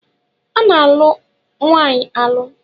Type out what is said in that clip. A na-alụ nwaanyị alụ.